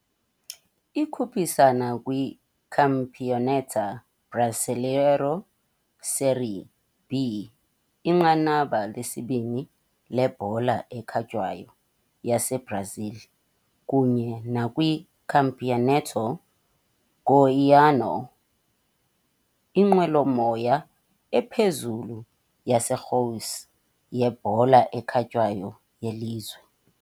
Ikhuphisana kwiCampeonato Brasileiro Série B, inqanaba lesibini lebhola ekhatywayo yaseBrazil, kunye nakwiCampeonato Goiano, inqwelomoya ephezulu yaseGoiás yebhola ekhatywayo yelizwe.